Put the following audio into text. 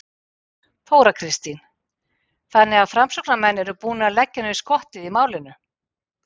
Þóra Kristín: Þannig að framsóknarmenn eru búnir að leggja niður skottið í málinu?